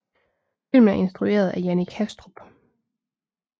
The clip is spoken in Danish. Filmen er instrueret af Jannik Hastrup